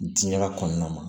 Diinɛ kɔnɔna na